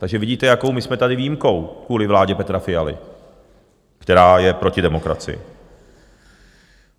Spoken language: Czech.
Takže vidíte, jakou my jsme tady výjimkou kvůli vládě Petra Fialy, která je proti demokracii.